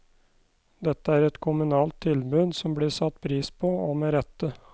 Dette er et kommunalt tilbud som blir satt pris på, og med rette.